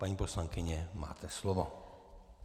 Paní poslankyně, máte slovo.